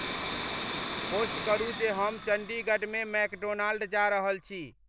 post करू जे हम चंडीगढ़ में मैकडोनाल्ड जा रहल छी